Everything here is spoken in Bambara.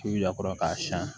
K'i y'a kɔrɔ k'a siɲɛ